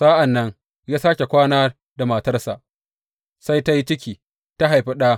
Sa’an nan ya sāke kwana da matarsa, sai ta yi ciki ta haifi ɗa.